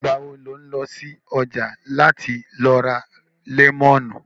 Ìgbà wo lò ń lọ ṣọ̀já láti lọ ra lẹ́mọ̀nù?